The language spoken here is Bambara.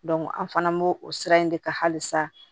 an fana b'o o sira in de kan hali sa